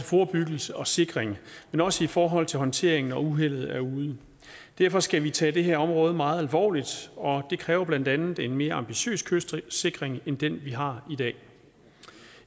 forebyggelse og sikring men også i forhold til håndtering når uheldet er ude derfor skal vi tage det her område meget alvorligt og det kræver blandt andet en mere ambitiøs kystsikring end den vi har